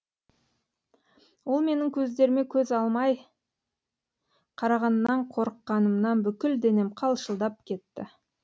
ол менің көздеріме көз алмай қарағаннан қорыққанымнан бүкіл денем қалшылдап кетті